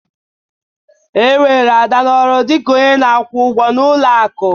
E were Ada n'ọrụ dị ka onye na-akwụ ụgwọ n'ụlọ akụ.